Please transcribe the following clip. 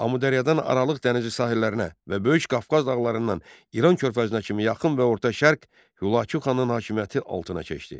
Amudəryadan Aralıq dənizi sahillərinə və Böyük Qafqaz dağlarından İran körfəzinə kimi Yaxın və Orta Şərq Hülakü xanın hakimiyyəti altına keçdi.